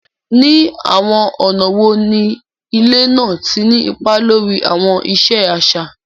Ní àwọn ọ̀nà wo ni ilẹ̀ náà ti ní ipa lórí àwọn ìṣe àṣà?